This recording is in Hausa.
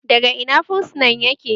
Daga Ina fursunan yake?